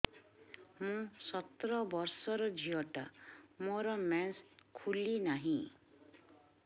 ମୁ ସତର ବର୍ଷର ଝିଅ ଟା ମୋର ମେନ୍ସେସ ଖୁଲି ନାହିଁ